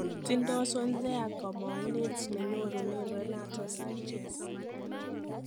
Tindo Swansea kamang'unet nenyorunen Renato Sanches.